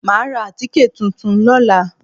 Màá ra àtíkè tuntun lóla